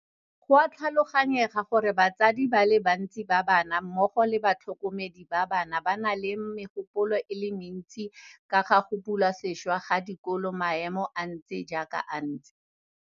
Go a tlhaloganyega gore batsadi ba le bantsi ba bana mmogo le batlhokomedi ba bana ba na le megopolo e le mentsi ka ga go bulwa sešwa ga dikolo maemo a ntse jaaka a ntse.